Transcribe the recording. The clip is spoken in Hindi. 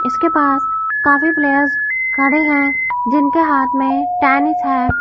इसके पास काफी प्लेयर्स खडे है जिनके हाथ मे टेनिस है।